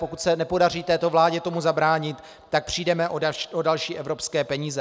Pokud se nepodaří této vládě tomu zabránit, tak přijdeme o další evropské peníze.